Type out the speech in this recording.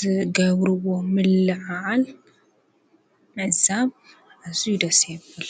ዘገብርዎ ምለዓዓል ምዛብ ኣዙይ ደሴ ይብል።